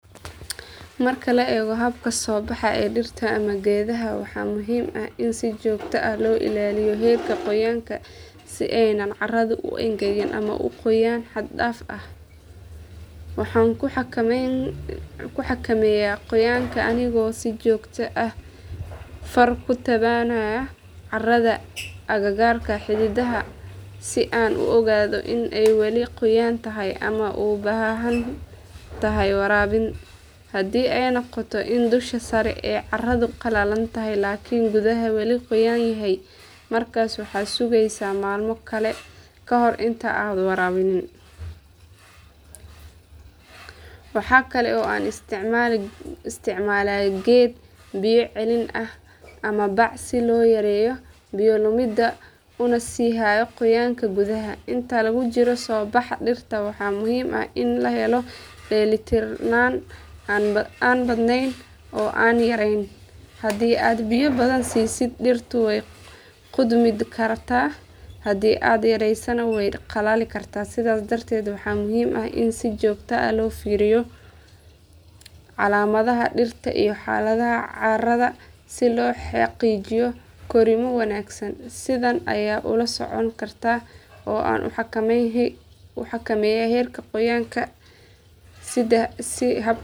Marka la eego habka soo baxa ee dhirta ama geedaha waxaa muhiim ah in si joogto ah loo ilaaliyo heerka qoyaanka si aanay carradu u engegin ama u qoyaan xad dhaaf ah. Waxaan ku xakameeyaa qoyaanka anigoo si joogto ah far ku taabanaya carrada agagaarka xididka si aan u ogaado in ay weli qoyan tahay ama u baahan tahay waraabin. Haddii ay noqoto in dusha sare ee carradu qalalan tahay laakiin gudaha weli qoyan yahay markaas waxaan sugayaa maalmo kale kahor intaanan waraabin. Waxa kale oo aan isticmaalaa geed biyo celin ah ama bac si loo yareeyo biyo lumidda una sii hayo qoyaanka gudaha. Inta lagu jiro soo baxa dhirta waxaa muhiim ah in la helo dheelitirnaan aan badnayn oo aan yareyn. Haddii aad biyo badan siisid dhirtu way qudhmi kartaa haddii aad yaraysana way qalali kartaa sidaas darteed waxaa muhiim ah in si joogto ah loo fiiriyo calaamadaha dhirta iyo xaaladda carrada si loo xaqiijiyo korriimo wanaagsan. Sidan ayaan ula socdaa oo aan u xakameeyaa heerka qoyaanka si .